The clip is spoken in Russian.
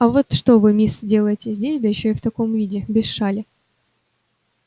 а вот что вы мисс делаете здесь да ещё и в таком виде без шали